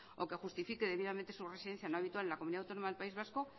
o que justifique debidamente su residencia no habitual en la comunidad autónoma del país vasco